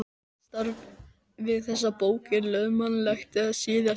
Mitt starf við þessa bók er löðurmannlegt þar sem SÍÐASTA